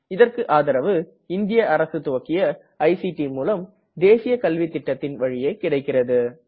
இதற்கு ஆதரவு இந்திய அரசு துவக்கிய ஐசிடி மூலம் தேசிய கல்வித்திட்டத்தின் வழியே கிடைக்கிறது